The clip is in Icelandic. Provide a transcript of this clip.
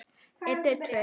Matur í boði.